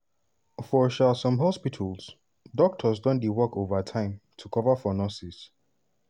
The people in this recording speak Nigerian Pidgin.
for um some hospitals doctors don dey work overtime to cover for nurses.